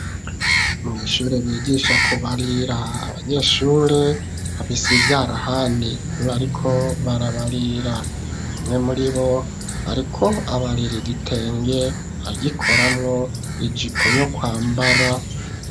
Mw'ishure bigisha kubarira, abanyeshure bafise ivyarahani, bariko barabarira. Umwe muribo ariko abarira igitenge, agikoramwo ijipo yo kwambara.